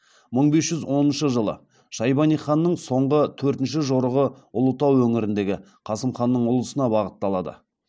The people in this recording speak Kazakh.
мың бес жүз оныншы жылы шайбани ханның соңғы төртінші жорығы ұлытау өңіріндегі қасым ханның ұлысына бағытталады